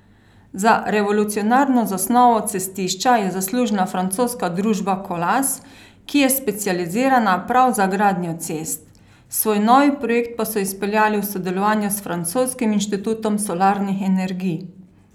Za revolucionarno zasnovo cestišča je zaslužna francoska družba Colas, ki je specializirana prav za gradnjo cest, svoj novi projekt pa so izpeljali v sodelovanju s francoskim inštitutom solarnih energij.